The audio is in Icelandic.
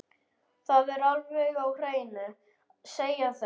Það er alveg á hreinu, segja þau.